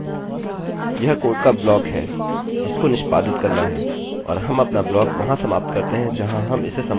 यह कोड का ब्लॉक है जिसको निष्पादित करना है और हम अपना ब्लॉक वहाँ समाप्त करते हैं जहाँ हम इसे समाप्त करना चाहते हैं